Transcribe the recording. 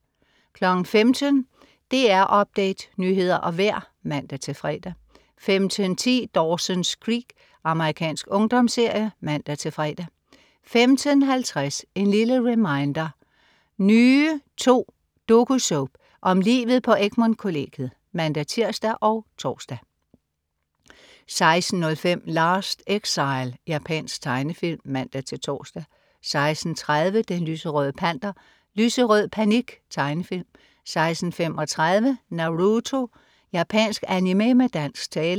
15.00 DR Update. Nyheder og vejr (man-fre) 15.10 Dawson's Creek. Amerikansk ungdomsserie (man-fre) 15.50 En lille reminder: Nye II. Dokusoap om livet på Egmont kollegiet (man-tirs og tors) 16.05 Last Exile. Japansk tegnefilm (man-tors) 16.30 Den lyserøde Panter. Lyserød panik. Tegnefilm 16.35 Naruto. Japansk animé med dansk tale